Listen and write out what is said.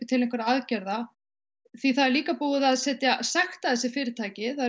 til einhverra aðgerða því það er líka búið að sekta þessi fyrirtæki það